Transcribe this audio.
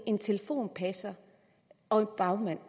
en telefonpasser og en bagmand